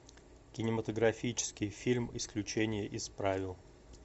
кинематографический фильм исключение из правил